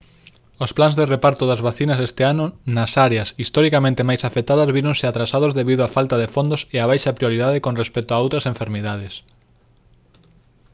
os plans de reparto das vacinas este ano nas áreas historicamente máis afectadas víronse atrasados debido á falta de fondos e á baixa prioridade con respecto a outras enfermidades